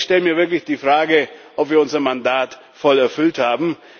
Also ich stelle mir wirklich die Frage, ob wir unser Mandat voll erfüllt haben.